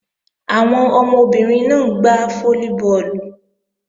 Àwọn ọmọbìnrin náà ń gbá fólíbọọ̀lù